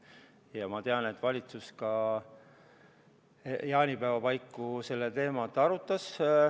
Ja ma tean, et valitsus jaanipäeva paiku seda teemat arutas.